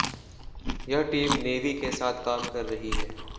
यह team navy के साथ काम कर रही है